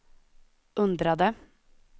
undrade